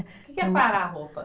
Que que é quarar a roupa?